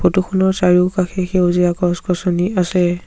Photo খনৰ চাৰিওকাষে সেউজীয়া গছ গছনি আছে।